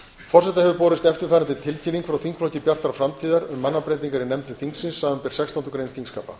forseta hefur borist eftirfarandi tilkynning frá þingflokki bjartrar framtíðar um mannabreytingar í nefndum þingsins samanber sextándu grein þingskapa